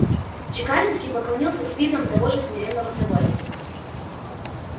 чекалинский поклонился с видом того же смиренного согласия